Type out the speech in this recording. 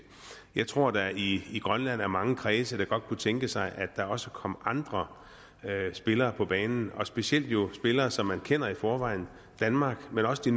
jeg tror at der i grønland er mange kredse der godt kunne tænke sig at der også kom andre spillere på banen og specielt jo spillere som man kender i forvejen danmark men også de